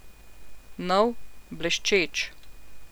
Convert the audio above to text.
Nov, bleščeč.